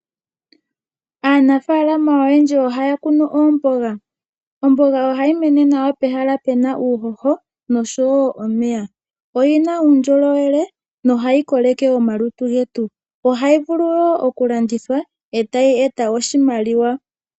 Aanafalama oyendji ohaya kunu oomboga. Omboga ohayi mene nawa pehala pe na uuhoho nosho wo omeya. Oyi na uundjolowele nohayi koleke omalutu getu. Ohayi vulu wo okulandithwa e tayi eta oshimaliwa.